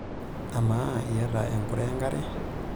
Amaa, iyata enkure enkare?